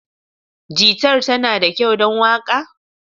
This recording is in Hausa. Gitar tana da kyau don waka?